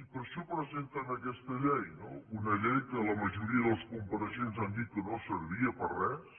i per això presenten aquesta llei no una llei que la majoria dels compareixents han dit que no servia per a res